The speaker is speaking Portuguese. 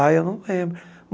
Aí eu não lembro.